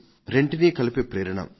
రెంటినీ కలిపే ప్రేరణ